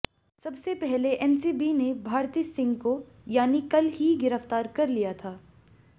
सबसे पहले एनसीबी ने भारती सिंह को यानि कल ही गिरफ्तार कर लिया था